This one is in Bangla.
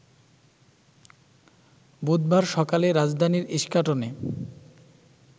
বুধবার সকালে রাজধানীর ইস্কাটনে